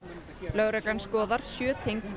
lögreglan skoðar sjö tengd